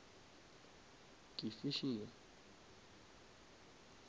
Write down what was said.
ke fishing